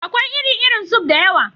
Akwai iri-irin suf (soup) da yawa.